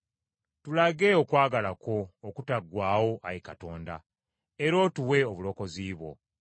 Tulage okwagala kwo okutaggwaawo Ayi Katonda, era otuwe obulokozi bwo.